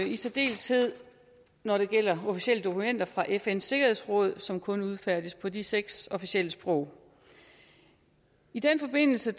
i særdeleshed når det gælder officielle dokumenter fra fns sikkerhedsråd som kun udfærdiges på de seks officielle sprog i den forbindelse